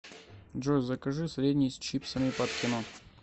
джой закажи средний с чипсами под кино